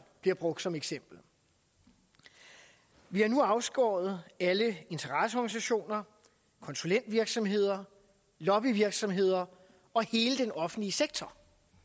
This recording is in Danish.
bliver brugt som eksempel vi har nu afskåret alle interesseorganisationer konsulentvirksomheder lobbyvirksomheder og hele den offentlige sektor